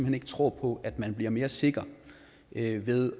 hen ikke tror på at man bliver mere sikker ved ved